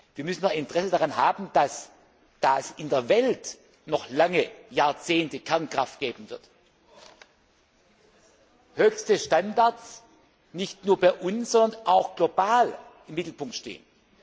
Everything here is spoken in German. Wir müssen doch ein Interesse daran haben, dass da es in der Welt noch lange Jahrzehnte Kernkraft geben wird höchste Standards nicht nur bei uns, sondern auch global im Mittelpunkt stehen.